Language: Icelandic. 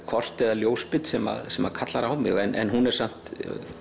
kort eða ljósmynd sem sem kallar á mig en hún er samt